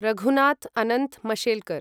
Raghunath Anant Mashelkar